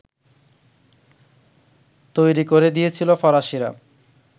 তৈরি করে দিয়েছিল ফরাসিরা